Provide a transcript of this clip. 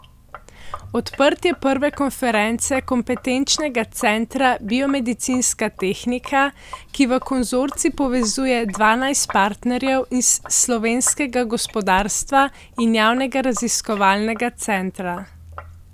Odprtje prve konference Kompetenčnega centra Biomedicinska tehnika, ki v konzorcij povezuje dvanajst partnerjev iz slovenskega gospodarstva in javnega raziskovalnega centra.